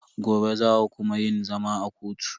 Gobe za a kuma yin zama a kotu.